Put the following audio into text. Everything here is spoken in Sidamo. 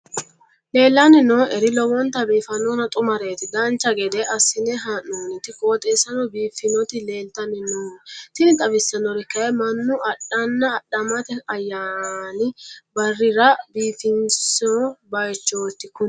leellanni nooeri lowonta biiffinonna xumareeti dancha gede assine haa'noonniti qooxeessano biiffinoti leeltanni nooe tini xawissannori kayi mannu adhanna adhamate ayyaani barrira biifinso baychooti kuni